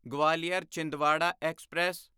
Gwalior Chhindwara express